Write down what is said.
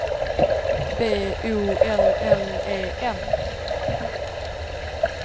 B O L L E N